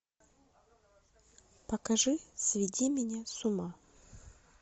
покажи сведи меня с ума